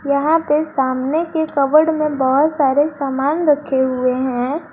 यहां पे सामने के कबर्ड में बहुत सारे सामान रखे हुए हैं।